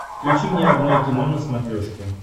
включи мне родное кино на смотрешке